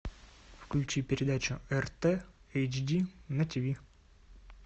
включи передачу рт эйч ди на тиви